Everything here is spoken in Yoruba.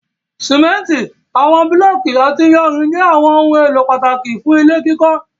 Simenti, awọn bulọọki ati iyanrin jẹ awọn ohun elo pataki fun ile kikọ